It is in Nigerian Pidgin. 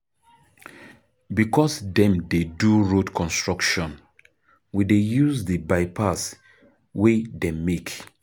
Because dem dey do road construction, we dey use di bypass wey dem make.